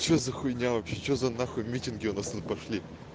что за хуйня вообще что за нахуй митинги у нас тут пошли